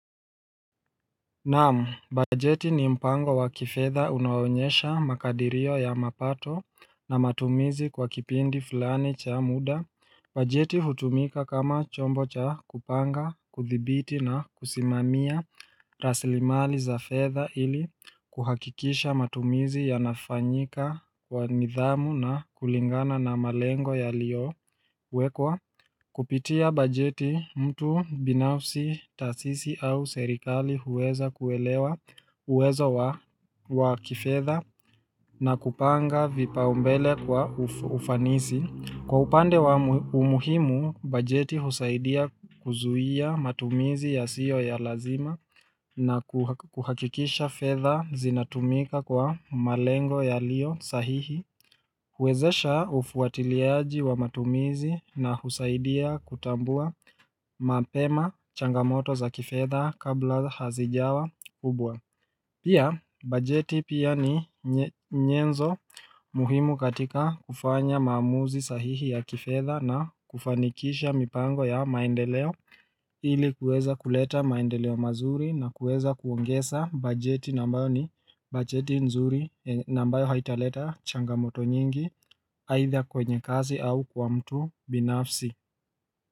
Naamu, bajeti ni mpango wa kifedha unao onyesha makadirio ya mapato na matumizi kwa kipindi fulani cha muda bajeti hutumika kama chombo cha kupanga, kuthibiti na kusimamia rasilimali za fedha ili kuhakikisha matumizi yanafanyika kwa nidhamu na kulingana na malengo yaliyowekwa Kupitia bajeti mtu binafsi, taasisi au serikali huweza kuelewa uwezo wa kifedha na kupanga vipaumbele kwa ufanisi. Kwa upande wa umuhimu, bajeti husaidia kuzuia matumizi yasiyo ya lazima na kuhakikisha fedha zinatumika kwa malengo yaliyo sahihi. Huwezesha ufuatiliaji wa matumizi na husaidia kutambua mapema changamoto za kifedha kabla hazijawa kubwa Pia, bajeti pia ni nyenzo muhimu katika kufanya maamuzi sahihi ya kifedha na kufanikisha mipango ya maendeleo ili kuweza kuleta maendeleo mazuri na kuweza kuongeza bajeti na ambayo ni bajeti nzuri na ambayo haitaleta changamoto nyingi aidha kwenye kazi au kwa mtu binafsi.